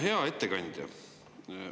Hea ettekandja!